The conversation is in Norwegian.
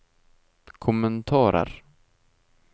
kommentarer